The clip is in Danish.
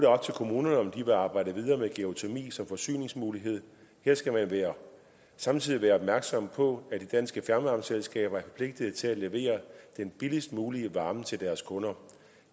op til kommunerne om de vil arbejde videre med geotermi som forsyningsmulighed her skal man samtidig være opmærksom på at de danske fjernvarmeselskaber er forpligtet til at levere den billigst mulige varme til deres kunder